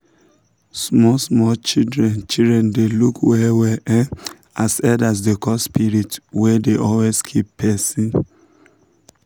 small small children children dey look well well um as elders dey call spirits wey dey always keep person.